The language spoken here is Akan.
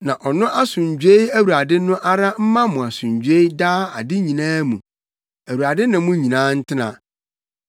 Na ɔno asomdwoe Awurade no ara mma mo asomdwoe daa ade nyinaa mu. Awurade ne mo nyinaa ntena.